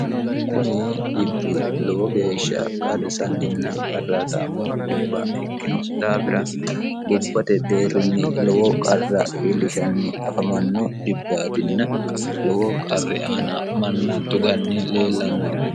kuni dhibbi lowo geeshsha qarrisanninna qarraataammo dhibba ikkino daafira gobbate deerrinni lowo qarra iilishanni afamanno dhibbaatinna lowo qarri aana manna tuganni leellanno dhibbaati